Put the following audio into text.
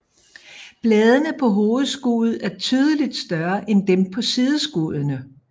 Bladene på hovedskuddet er tydeligt større end dem på sideskuddene